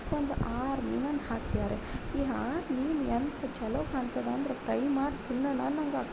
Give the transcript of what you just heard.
ಒಂದ್ ಆರ್ ಮೀನುನ್ ಹಾಕ್ಯಾರೆ ಇ ಆರ್ ಮೀನ್ ಎಂತ ಚಲೋ ಕಾಣ್ತದೆ ಅಂದ್ರೆ ಫ್ರೈ ಆಯಾ ಮಾಡ್ ತಿನ್ನಣ ಅನ್ನಂಗ್--